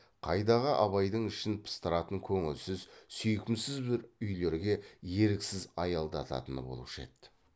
қайдағы абайдың ішін пыстыратын көңілсіз сүйкімсіз бір үйлерге еріксіз аялдататыны болушы еді